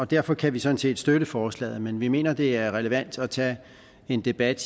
derfor kan vi sådan set støtte forslaget men vi mener det er relevant at tage en debat